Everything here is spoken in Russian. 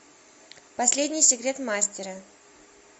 последний секрет мастера